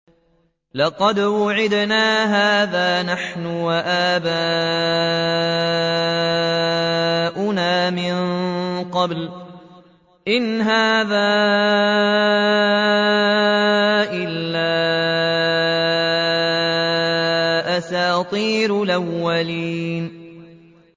لَقَدْ وُعِدْنَا هَٰذَا نَحْنُ وَآبَاؤُنَا مِن قَبْلُ إِنْ هَٰذَا إِلَّا أَسَاطِيرُ الْأَوَّلِينَ